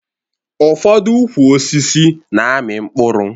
Ụfọdụ ukwu osisi na-amị mkpụrụ